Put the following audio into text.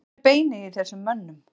Hvar er beinið í þessum mönnum?